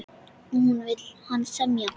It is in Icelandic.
Og nú vill hann semja!